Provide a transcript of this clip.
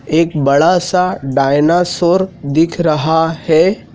एक बड़ा सा डायनासोर दिख रहा है।